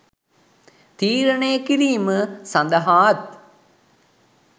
තිරණය කිරීම සඳහාත්